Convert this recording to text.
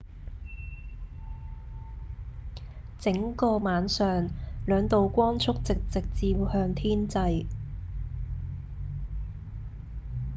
整個晚上兩道光束直直照向天際